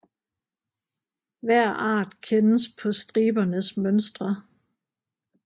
Hver art kendes på stribernes mønstre